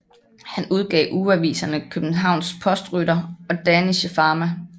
Han udgav ugeaviserne Kjøbenhavns Postrytter og Dänische Fama